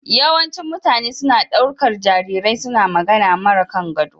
Yawancin mutane suna ɗaukar jarirai suna magana mara kangado.